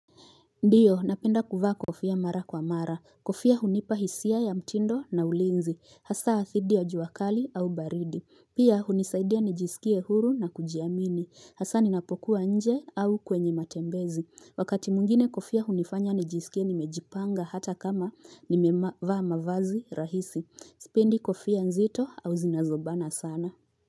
Ndiyo napenda kuvaa kofia mara kwa mara. Kofia hunipa hisia ya mtindo na ulinzi. Hasa dhidi ya jua kali au baridi. Pia hunisaidia nijisikie huru na kujiamini. Hasa ninapokuwa nje au kwenye matembezi. Wakati mwingine kofia hunifanya nijisikie nimejipanga hata kama nimevaa mavazi rahisi. Sipendi kofia nzito au zinazobana sana.